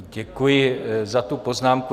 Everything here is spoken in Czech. Děkuji za tu poznámku.